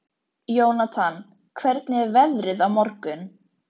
Jónatan, hvernig er veðrið á morgun?